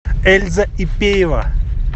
эльза ипеева